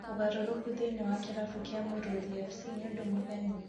ũgarũrũku thĩiniĩ wa kĩrabu kia Mũrũthi FC nĩ ũndũ mũgeni ?